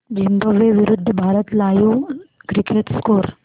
Zimbabwe विरूद्ध Bharat live cricket score